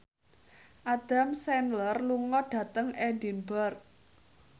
Adam Sandler lunga dhateng Edinburgh